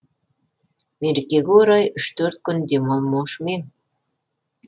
мерекеге орай үш төрт күн демалмаушы ма ең